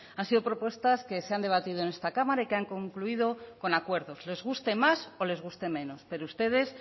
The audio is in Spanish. han sido propuestas que se han debatido en esta cámara y que han concluido con acuerdos les guste más o les guste menos pero ustedes